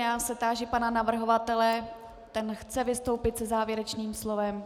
Já se táži pana navrhovatele, ten chce vystoupit se závěrečným slovem.